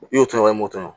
I y'o tɔɔrɔ i m'o to